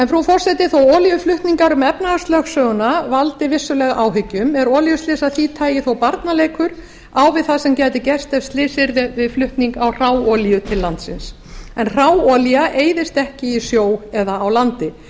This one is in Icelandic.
frú forseti þó að olíuflutningar um efnahagslögsöguna valdi vissulega áhyggjum eru olíuslys af því tagi þó barnaleikur á við það sem gæti gerst ef slys yrði við flutning á hráolíu til landsins en hráolía eyðist ekki í sjó eða á landi